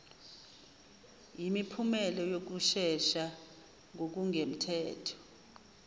yimiphumela yokusesha ngokungemthetho